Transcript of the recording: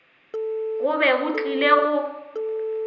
go be go tlile go